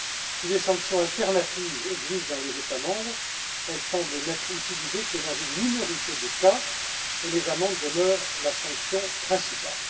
Si des sanctions alternatives existent dans les États membres, elles semblent n'être utilisées que dans une minorité de cas et les amendes demeurent la sanction principale.